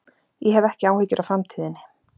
Ég hef ekki áhyggjur af framtíðinni.